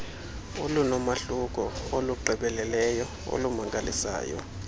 olunomahluko olugqibeleleyo olumangalisayo